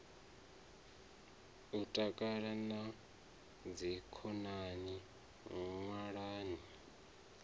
u takala na dzikhonani ṅwalani